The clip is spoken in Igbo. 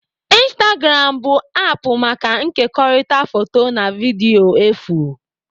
Instagram bụ aapụ maka nkekọrịta foto na vidiyo efu